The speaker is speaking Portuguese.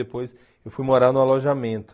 Depois eu fui morar no alojamento.